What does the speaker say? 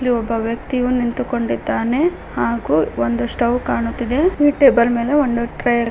ಅಲ್ಲಿ ಒಬ್ಬ ವ್ಯಕ್ತಿಯು ನಿಂತುಕೊಂಡಿದ್ದಾನೆ ಹಾಗೂ ಒಂದು ಸ್ಟೌ ಕಾಣುತ್ತಿದೆ ಈ ಟೇಬಲ್ ಮೇಲೆ ಒಂದು ಟ್ರೇ ಇರ್ --